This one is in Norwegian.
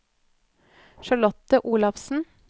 Charlotte Olafsen